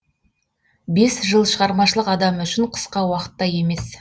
бес жыл шығармашылық адамы үшін қысқа уақыт та емес